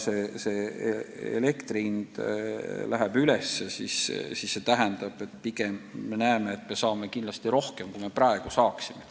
Ja see tähendab, et elektri tootjatelt me pigem saame seda tasu kindlasti rohkem kui praeguse süsteemi kehtides.